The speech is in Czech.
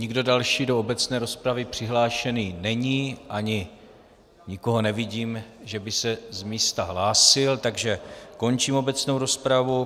Nikdo další do obecné rozpravy přihlášený není ani nikoho nevidím, že by se z místa hlásil, takže končím obecnou rozpravu.